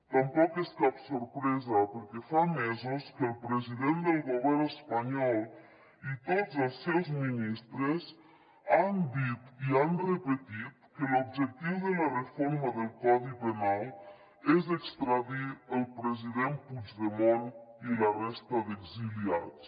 tampoc és cap sorpresa perquè fa mesos que el president del govern espanyol i tots els seus ministres han dit i han repetit que l’objectiu de la reforma del codi penal és extradir el president puigdemont i la resta d’exiliats